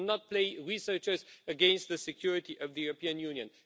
We should not play researchers against the security of the European Union.